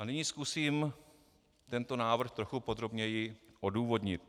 A nyní zkusím tento návrh trochu podrobněji odůvodnit.